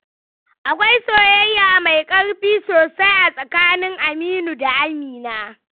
Akwai soyayya mai ƙarfi sosai a tsakanin Aminu da Amina.